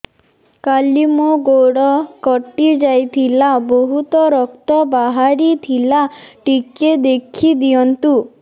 କାଲି ମୋ ଗୋଡ଼ କଟି ଯାଇଥିଲା ବହୁତ ରକ୍ତ ବାହାରି ଥିଲା ଟିକେ ଦେଖି ଦିଅନ୍ତୁ